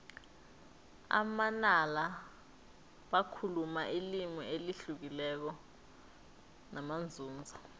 amanala bakhuluma ilimi elihlukileko namanzunza